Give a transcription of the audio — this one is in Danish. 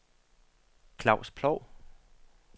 Claus Ploug